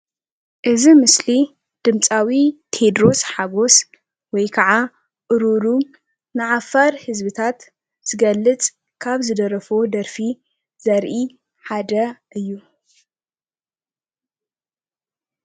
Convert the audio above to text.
እዚ ምስሊ ድምፃዊ ቴድሮስ ሓጎስ ወይ ከዓ እሩሩ ንዓፋር ህዝቢታት ዝገልፅ ካብ ዝደረፎ ደርፊ ዘርኢ ሓደ እዩ።